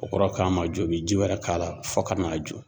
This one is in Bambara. O kɔrɔ k'a ma jɔ , u bi ji wɛrɛ k'a la fo ka n'a jɔ.